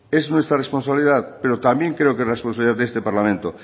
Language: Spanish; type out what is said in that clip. es nuestra responsabilidad pero también creo que es responsabilidad de este parlamento